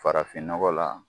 Farafin nɔgɔ la.